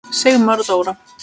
Sigmar og Dóra.